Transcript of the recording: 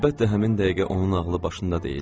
Əlbəttə həmin dəqiqə onun ağlı başında deyildi.